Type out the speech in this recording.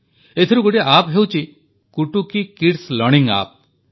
ଏଥିରୁ ଗୋଟିଏ ଆପ୍ ହେଉଛି କୁଟୁକୀ କିଡ୍ସ ଲର୍ଣ୍ଣିଂ ଆପ୍